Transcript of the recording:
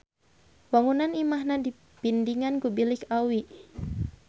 Wangunan imahna dipindingan ku bilik awi.